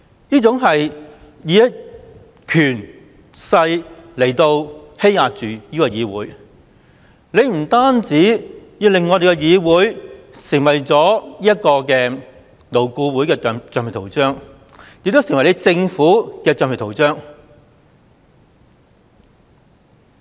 這是以權勢來欺壓立法會，政府不單令立法會成為勞顧會的橡皮圖章，亦成為政府的橡皮圖章。